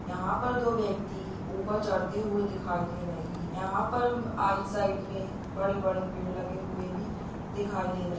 यहाँ पर दो व्यक्ति ऊपर चढ़ते हुए दिखाई दे रहे हैं यहाँ पर साइड में बड़े-बड़े पेड़ लगे हुए भी दिखाई दे रहे हैं।